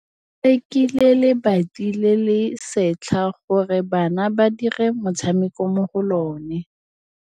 Ba rekile lebati le le setlha gore bana ba dire motshameko mo go lona.